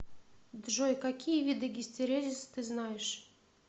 джой какие виды гистерезис ты знаешь